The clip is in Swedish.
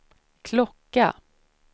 klocka